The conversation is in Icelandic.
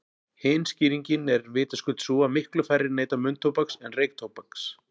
Hin skýringin er vitaskuld sú að miklu færri neyta munntóbaks en reyktóbaks.